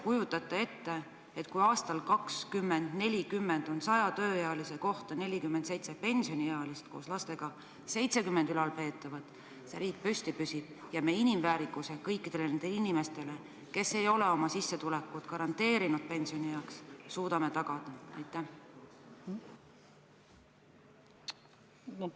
Kuidas teie arvates – kui aastal 2040 on saja tööealise kohta 47 pensioniealist, lastega kokku 70 ülalpeetavat – see riik püsti püsib ja kuidas me kõikidele nendele inimestele, kes ei ole oma sissetulekut pensionieaks garanteerinud, suudame inimväärikuse tagada?